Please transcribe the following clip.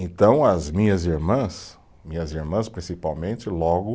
Então as minhas irmãs, minhas irmãs principalmente, logo